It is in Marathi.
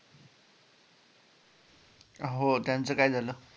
हो त्याचं काय झालं?